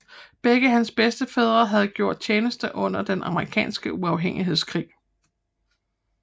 Begge hans bedstefædre havde gjort tjeneste under den amerikanske uafhængighedskrig